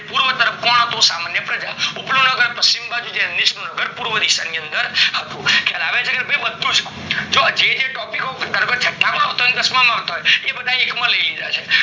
પૂર્વ તરફ હતું સમાન, ઉપર નું નગર પશ્ચિમ બાજુ જે નીચે નગર પૂર્વ દિશા માં હતું ખ્યાલ આવે છે કે નય બધું જો જે જે બરાબર topic ઓ તમે દસ માં હતા એ બધા એક માં લય લીધા છે